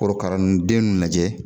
Korokara nu den nunnu lajɛ